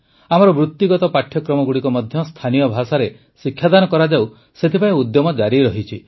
ଆମର ବୃତ୍ତିଗତ ପାଠ୍ୟକ୍ରମଗୁଡ଼ିକ ମଧ୍ୟ ସ୍ଥାନୀୟ ଭାଷାରେ ଶିକ୍ଷାଦାନ କରାଯାଉ ସେଥିପାଇଁ ଉଦ୍ୟମ ଜାରି ରହିଛି